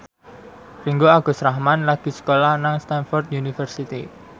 Ringgo Agus Rahman lagi sekolah nang Stamford University